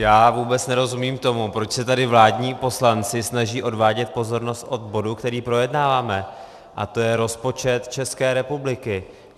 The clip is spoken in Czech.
Já vůbec nerozumím tomu, proč se tady vládní poslanci snaží odvádět pozornost od bodu, který projednáváme, a to je rozpočet České republiky.